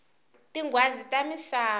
tinghwazi ta misava